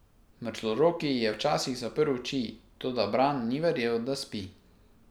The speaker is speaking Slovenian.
Mrzloroki je včasih zaprl oči, toda Bran ni verjel, da spi.